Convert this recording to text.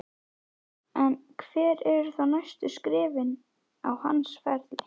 En hver eru þá næstu skrefin á hans ferli?